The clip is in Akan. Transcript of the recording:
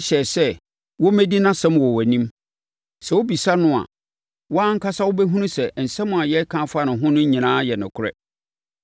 hyɛɛ sɛ wɔmmɛdi nʼasɛm wɔ wʼanim. Sɛ wobisa no a, wo ara ankasa wobɛhunu sɛ nsɛm a yɛreka afa ne ho no nyinaa yɛ nokorɛ.”